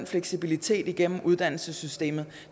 fleksibilitet igennem uddannelsessystemet